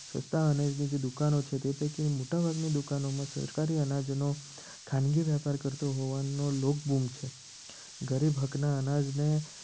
સસ્તા અનાજની જે દુકાનો છે. તે પૈકી મોટાભાગની દુકાનોમાં સરકારી અનાજનો ખાનગી વેપાર કરતો હોવાનો લોકબૂમ છે. ગરીબ હક ના અનાજને